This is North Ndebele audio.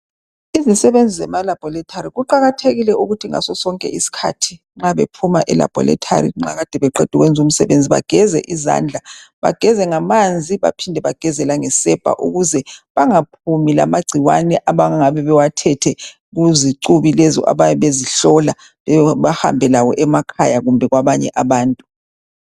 Izisebenzi zema laboratory kuqakathekile ukuthi ngaso sonke isikhathi nxa bephuma elaboratory nxa Kade beqeda ukwenza umsebenzi bageze izandla bageze ngamanzi baphinde bageze langesepa ukuze bangaphumi lamagcikwane abangabe bewathethe kuzicubi lezi abayabe bezihlola bahambe lawo emakhaya kumbe kwabanye abantu.